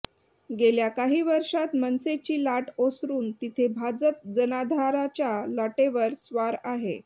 गेल्या काही वर्षांत मनसेची लाट ओसरून तिथे भाजप जनाधाराच्या लाटेवर स्वार आहे